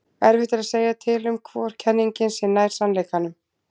erfitt er að segja til um hvor kenningin sé nær sannleikanum